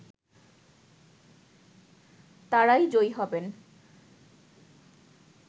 তারাই জয়ী হবেন